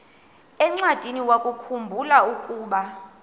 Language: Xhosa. encwadiniwakhu mbula ukuba